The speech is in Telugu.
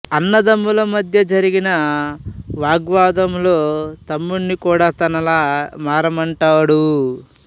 అన్నదమ్ముల మధ్య జరిగిన వాగ్వివాదంలో తమ్ముడ్ని కూడా తనలా మారమంటాడు